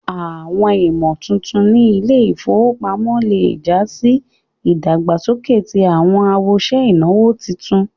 Awọn ìmọ̀tuntun ní ilẹ̀-ifowópamọ̀ lẹ́ já sì ìdágbásọ̀kẹ̀ tí awọn awọṣẹ̀ inawo títùn.